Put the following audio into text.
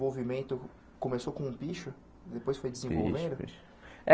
Movimento começou com o picho depois foi desenvolvendo? Picho picho é